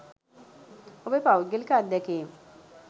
ඔබේ පෞද්ගලික අත්දැකීම්.